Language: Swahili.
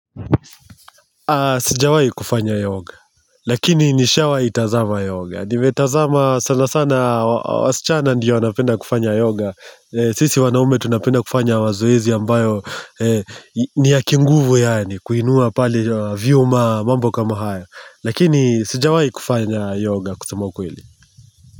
Sijawahi kufanya yoga, lakini nishawahi tazama yoga, nimetazama sana sana, wasichana ndiyo wanapenda kufanya yoga, sisi wanaume tunapenda kufanya mazoezi ambayo ni ya kinguvu yaani, kuinua pale vyuma mambo kama haya, lakini sijawahi kufanya yoga kusema ukweli.